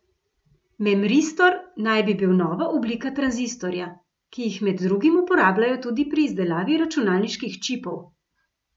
Memristor naj bi bil nova oblika tranzistorja, ki jih med drugim uporabljajo tudi pri izdelavi računalniških čipov.